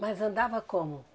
Mas andava como?